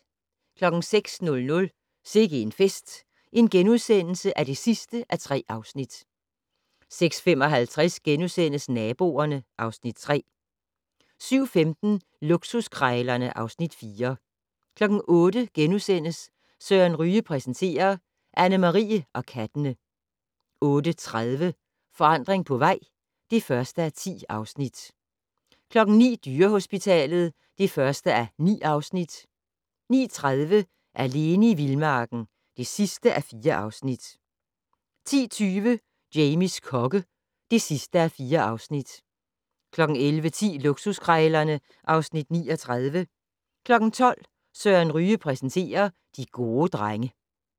06:00: Sikke en fest (3:3)* 06:55: Naboerne (Afs. 3)* 07:15: Luksuskrejlerne (Afs. 4) 08:00: Søren Ryge præsenterer - Anne Marie og kattene * 08:30: Forandring på vej (1:10) 09:00: Dyrehospitalet (1:9) 09:30: Alene i vildmarken (4:4) 10:20: Jamies kokke (4:4) 11:10: Luksuskrejlerne (Afs. 39) 12:00: Søren Ryge præsenterer: De gode drenge